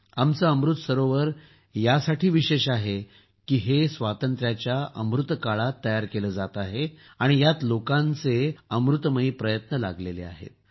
आमचे अमृत सरोवर यासाठी विशेष आहे की हे स्वातंत्र्याच्या अमृतकाळात तयार केले जात आहे आणि यात लोकांचे अमृत प्रयत्न लागले आहेत